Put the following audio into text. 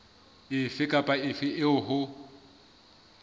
efe kapa efe eo ho